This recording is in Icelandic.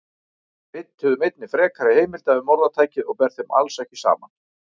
Við leituðum einnig frekari heimilda um orðtækið og ber þeim alls ekki saman.